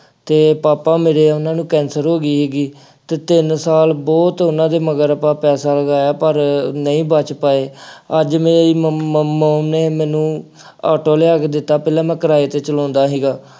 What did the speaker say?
ਅਤੇ ਪਾਪਾ ਮੇਰੇ ਉਹਨਾ ਨੂੰ ਕੈਂਸਰ ਹੋ ਗਈ ਸੀਗੀ ਅਤੇ ਤਿੰਨ ਸਾਲ ਬਹੁਤ ਉਹਨਾ ਦੇ ਮਗਰ ਆਪਾਂ ਪੈਸਾ ਲਗਾਇਆ, ਪਰ ਨਹੀਂ ਬੱਚ ਪਾਏ। ਅੱਜ ਮੇਰੀ ਮ mom ਨੇ ਮੈਨੂੰ ਆਟੋ ਲਿਆ ਕੇ ਦਿੱਤਾ, ਪਹਿਲਾ ਮੈਂ ਕਿਰਾਏ ਤੇ ਚਲਾਉਂਦਾ ਸੀਗਾ।